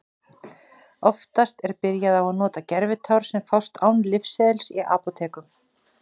Oftast er byrjað á að nota gervitár sem fást án lyfseðils í apótekum.